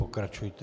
Pokračujte.